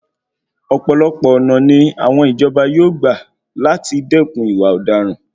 Ọ̀pọ̀lọpọ̀ ọ̀nà ni àwọn ìjọba yóò gba làti dẹ́kun ìwà ọ̀daràn.